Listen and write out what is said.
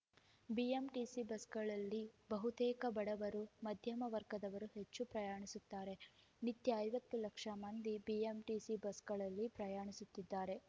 BMTC ಬಸ್‌ಗಳಲ್ಲಿ ಬಹುತೇಕ ಬಡವರು ಮಧ್ಯಮ ವರ್ಗದವರು ಹೆಚ್ಚು ಪ್ರಯಾಣಿಸುತ್ತಾರೆ ನಿತ್ಯ ಐವತ್ತು ಲಕ್ಷ ಮಂದಿ ಬಿಎಂಟಿಸಿ ಬಸ್‌ಗಳಲ್ಲಿ ಪ್ರಯಾಣಿಸುತ್ತಿದ್ದಾರೆ